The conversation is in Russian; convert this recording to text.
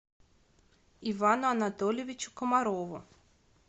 ивану анатольевичу комарову